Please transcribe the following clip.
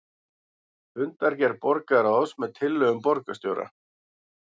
Fundargerð borgarráðs með tillögum borgarstjóra